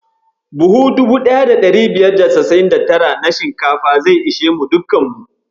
Buhu 1599 na shinkafa zai ishe mu dukkan mu.